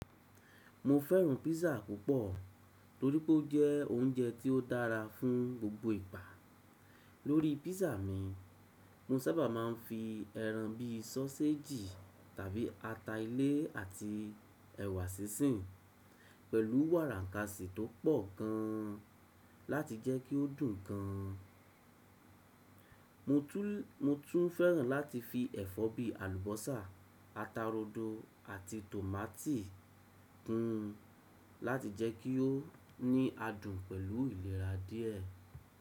Mo fẹ́ràn písà púpọ̀ torí pé ó jẹ́ oúnjẹ tí ó dára fún gbogbo ìgbà. Lórí písà mi, mo sábà máa ń fi ẹran bí i sọ́séjì tàbí ata ilé àti ẹ̀wà sísìn pẹ̀lú wàrà ǹkasì tó pọ̀ gan-an láti jẹ́ kí ó dùn gan-an. Mo tún fẹ́ràn láti fi ẹ̀fọ́ bíi àlùbọ́sà, ata rodo àti tòmátì kún un láti jẹ́ kí ó ní adùn pẹ̀lú ìlera díẹ̀.